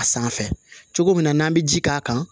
A sanfɛ cogo min na n'an bɛ ji k'a kan